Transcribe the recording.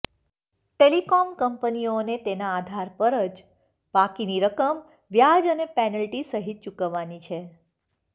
telecom કંપનીઓને તેના આધાર પર જ બાકીની રકમ વ્યાજ અને પેનલ્ટી સહિત ચૂકવવાની છે